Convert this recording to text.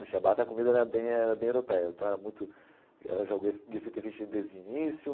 No Shabbat, a comida era bem era bem europeia, então era muito era Gefilte fish desde o início.